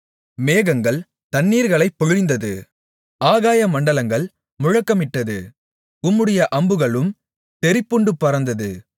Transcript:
மேகங்கள் தண்ணீர்களைப் பொழிந்தது ஆகாயமண்டலங்கள் முழக்கமிட்டது உம்முடைய அம்புகளும் தெறிப்புண்டு பறந்தது